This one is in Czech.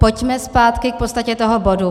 Pojďme zpátky k podstatě toho bodu.